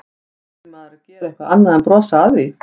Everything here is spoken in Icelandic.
Átti maður að gera eitthvað annað en að brosa að því?